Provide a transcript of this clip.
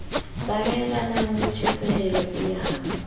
tsamaelanang le tjhesehelo e yeng